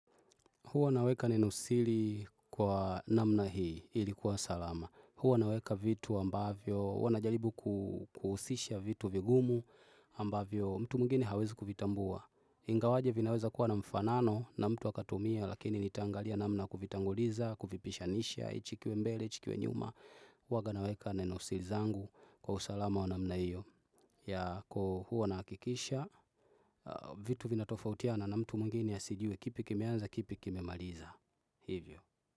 Huwa naweka nenosili kwa namna hii ilikuwa salama. Huwa naweka vitu ambavyo, huwa najaribu kuhusisha vitu vigumu ambavyo mtu mwingine hawezi kuvitambua. Ingawaje vinaweza kuwa na mfanano na mtu akatumia lakini nitaangalia namna kuvitanguliza, kuvipishanisha, hichi kiwe mbele, hichi kiwe nyuma. Huwaga naweka nenosili zangu kwa usalama wa namna hio. Ya kukuwa unahakikisha vitu vina tofautiana na mtu mwingine asijue kipi kimeanza kipi kimemaliza hivyo.